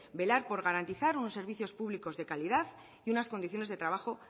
velar por garantizar unos servicio públicos de calidad y unas condiciones de trabajo